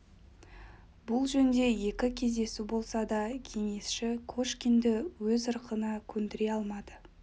бұл жөнде екі кездесу болса да кеңесші кошкинді өз ырқына көндіре алмады